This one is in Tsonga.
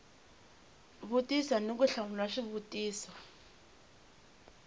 vutisa ni ku hlamula swivutiso